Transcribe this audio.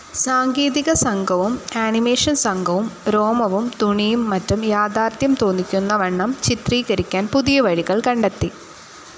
സാങ്കേതികസംഘവും animation സംഘവും രോമവും തുണിയും മറ്റും യാഥാർഥ്യം തോന്നിക്കുന്നവണ്ണം ചിത്രീകരിക്കാൻ പുതിയ വഴികൾ കണ്ടെത്തി.